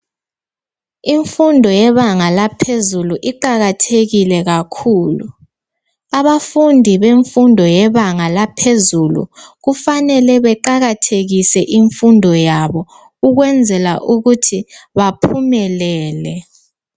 Imfundo yebanga laphezulu iqakathekile kakhulu abafundi bemfundo yebanga laphezulu kufanele beqakathekise imfundo yabo ukwenzela ukuthi baphumelele.